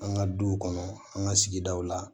An ka du kɔnɔ an ka sigidaw la